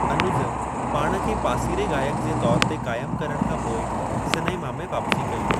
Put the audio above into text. अनुज पाण खे पासीरे-गाइक जे तौर ते क़ायमु करण खां पोइ सनेमा में वापसी कई।